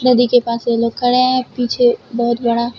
नदी के पास दो लोग खड़े हैं पीछे बहुत बड़ा--